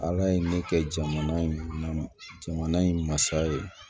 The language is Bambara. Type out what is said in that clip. Ala ye ne kɛ jamana in jamana in masa ye